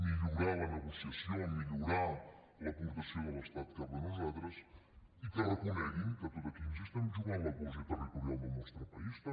millorar la negociació millorar l’aportació de l’estat cap a nosaltres i que reconeguin que aquí ens hi juguem la cohesió territorial del nostre país també